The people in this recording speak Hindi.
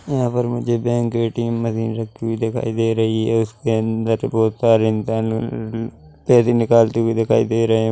यहाँ पर मुझे बैंक ए_टी_म मशीन रखी हुई दिखाई दे रही है उसके अंदर बहोत सारे इंसान उम्म पैसे निकालते हुए दिखाई दे रहे हैं।